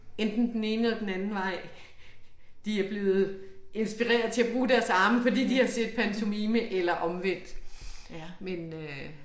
Enten den ene eller den anden vej. De er blevet inspirerede til at bruge deres arme fordi de har set pantomime eller omvendt men øh